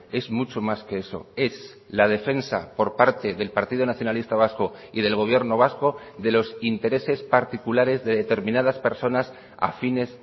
es mucho más que eso es la defensa por parte del partido nacionalista vasco y del gobierno vasco de los intereses particulares de determinadas personas afines